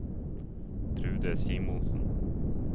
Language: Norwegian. Trude Simonsen